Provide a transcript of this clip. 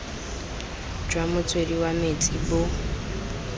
jwa motswedi wa metsi bo